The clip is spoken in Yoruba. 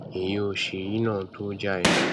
èyí o ṣe yìí náà tó o jàre